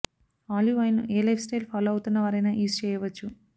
olive oil ని ఏ lifestyle follow అవుతున్న వారైనా యూజ్ చేయవచ్చు